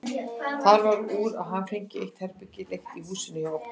Það varð úr að hann fengi eitt herbergi leigt í húsinu hjá okkur.